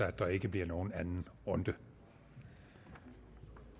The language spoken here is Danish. at der ikke bliver nogen anden runde